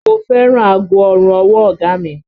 Mo fẹ́ràn aago ọrùn ọwọ́ ọ̀gá a mi